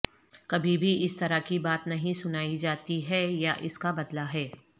کبھی بھی اس طرح کی بات نہیں سنائی جاتی ہے یا اس کا بدلہ ہے